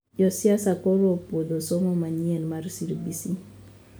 Josiasa koro opuodho somo manyien mar CBC